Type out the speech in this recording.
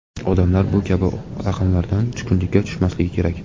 Odamlar bu kabi raqamlardan tushkunlikka tushmasligi kerak.